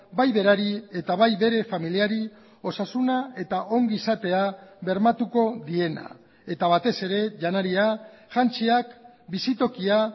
bai berari eta bai bere familiari osasuna eta ongizatea bermatuko diena eta batez ere janaria jantziak bizitokia